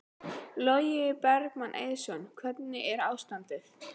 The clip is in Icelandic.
Logi Bergmann Eiðsson: Hvernig er ástandið?